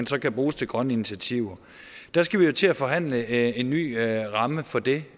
så kan bruges til grønne initiativer der skal vi jo til at forhandle en ny ramme for det